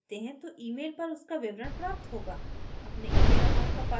जब आप एक ticket खरीदते हैं तो email पर उसका विवरण प्राप्त होगा